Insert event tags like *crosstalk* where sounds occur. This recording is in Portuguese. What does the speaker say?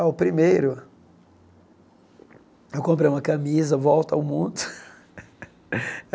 Ah, o primeiro... Eu comprei uma camisa Volta ao Mundo. *laughs*